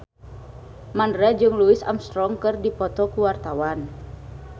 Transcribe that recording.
Mandra jeung Louis Armstrong keur dipoto ku wartawan